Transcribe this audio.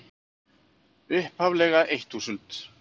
upphaflega eitt þúsund.